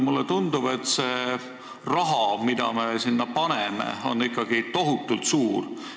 Mulle tundub, et see summa, mis me sinna paneme, on ikkagi tohutult suur.